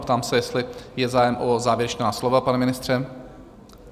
Ptám se, jestli je zájem o závěrečná slova, pane ministře?